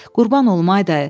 "Qurban olum, ay dayı.